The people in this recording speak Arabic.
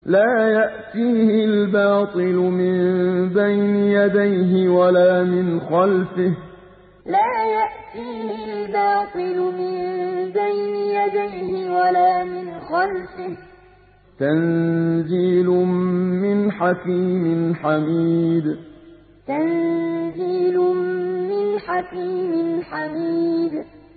لَّا يَأْتِيهِ الْبَاطِلُ مِن بَيْنِ يَدَيْهِ وَلَا مِنْ خَلْفِهِ ۖ تَنزِيلٌ مِّنْ حَكِيمٍ حَمِيدٍ لَّا يَأْتِيهِ الْبَاطِلُ مِن بَيْنِ يَدَيْهِ وَلَا مِنْ خَلْفِهِ ۖ تَنزِيلٌ مِّنْ حَكِيمٍ حَمِيدٍ